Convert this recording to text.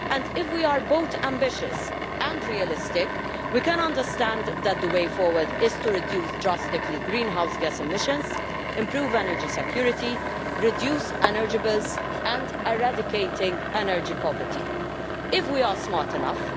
If we are both ambitious and realistic, we can understand that the way forward is to reduce drastically greenhouse gas emissions, improve energy security, reduce energy bills and eradicate energy poverty, if we are smart enough.